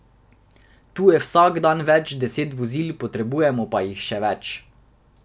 Tu je vsak dan več deset vozil, potrebujemo pa jih še več.